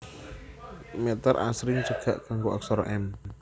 Mèter asring dicekak nganggo aksara m